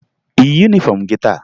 Ị yi yunifọmụ gị taa?